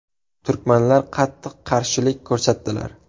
Turkmanlar qattiq qarshilik ko‘rsatdilar.